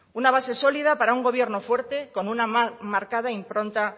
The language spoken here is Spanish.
una base sólida para un gobierno fuerte con una marcada impronta